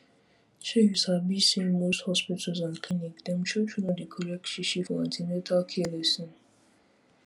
shey u sabi say most hospitals and clinics dem true true no dey collect shishi for an ten atal care lesson